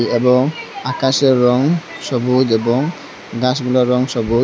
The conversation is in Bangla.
এবং আকাশের রং সবুজ এবং গাছগুলোর রং সবুজ।